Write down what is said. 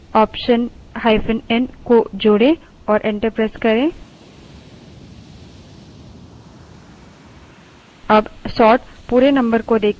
इससे बचने के लिए optionn को जोड़े और enter प्रेस करें